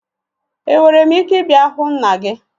Enwere m ike ịbịa hụ nna gị?